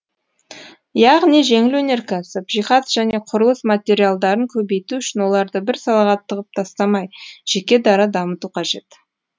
яғни жеңіл өнеркәсіп жиһаз және құрылыс материалдарын көбейту үшін оларды бір салаға тығып тастамай жеке дара дамыту қажет